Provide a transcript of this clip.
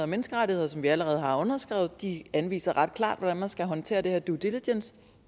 menneskerettigheder som vi allerede har underskrevet de anviser ret klart hvordan man skal håndtere det her nemlig due diligence